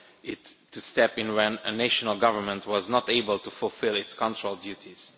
it to step in when a national government was not able to fulfil its control duties.